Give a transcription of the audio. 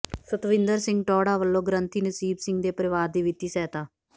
ਸਤਵਿੰਦਰ ਸਿੰਘ ਟੌਹੜਾ ਵੱਲੋਂ ਗ੍ਰੰਥੀ ਨਸੀਬ ਸਿੰਘ ਦੇ ਪਰਿਵਾਰ ਦੀ ਵਿੱਤੀ ਸਹਾਇਤਾ